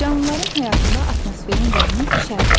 Canlıların həyatında atmosferin rolunu şərh et.